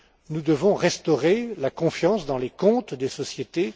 Nous devons restaurer la confiance dans les comptes des sociétés.